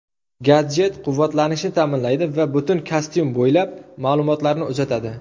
Gadjet quvvatlanishni ta’minlaydi va butun kostyum bo‘ylab ma’lumotlarni uzatadi.